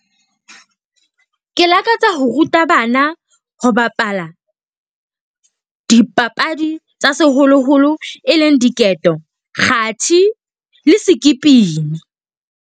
Ke lakatsa ho ruta bana ho bapala dipapadi tsa seholoholo, e leng diketo, kgathi le .